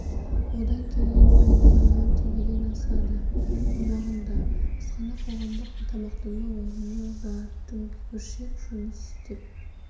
одан келген пайда млн теңгеден асады аумағында асхана қоғамдық тамақтану орны бар дүңгіршек жұмыс істеп